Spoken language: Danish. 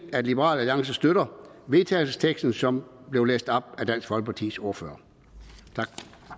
at liberal alliance støtter vedtagelsesteksten som blev læst op af dansk folkepartis ordfører tak